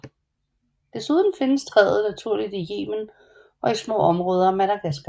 Desuden findes træet naturligt i Yemen og i små områder af Madagaskar